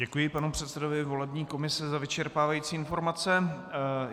Děkuji panu předsedovi volební komise za vyčerpávající informace.